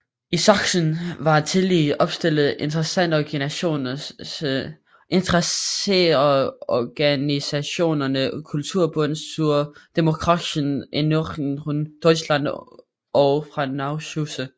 I Sachsen var tillige opstillet interesseorganisationerne Kulturbund zur demokratischen Erneuerung Deutschlands og Frauenausschüsse